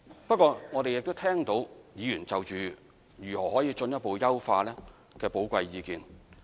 不過，我們亦聽到議員就如何進一步優化政策，提出的寶貴意見。